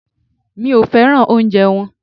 Mi ò féràn oúnjẹ wọn.